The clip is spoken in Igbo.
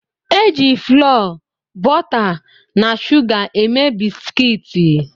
E jị FLọọ, bọta na shuga eme bisikiiti